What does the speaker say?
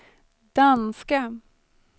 danska